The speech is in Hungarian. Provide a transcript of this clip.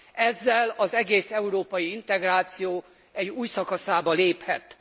Ezzel az egész európai integráció egy új szakaszába léphet.